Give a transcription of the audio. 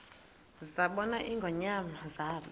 zabona ingonyama zaba